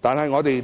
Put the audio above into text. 但是，信保局